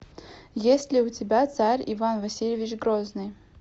есть ли у тебя царь иван васильевич грозный